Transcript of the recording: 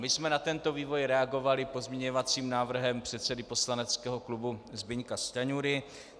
My jsme na tento vývoj reagovali pozměňovacím návrhem předsedy poslaneckého klubu Zbyňka Stanjury.